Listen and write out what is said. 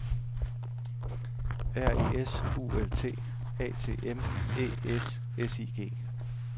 R E S U L T A T M Æ S S I G